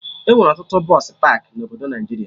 Enwere ọtụtụ bọsụ pakị na obodo Naijiria